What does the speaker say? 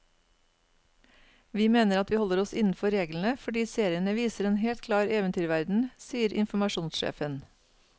Vi mener at vi holder oss innenfor reglene, fordi seriene viser en helt klar eventyrverden, sier informasjonssjefen.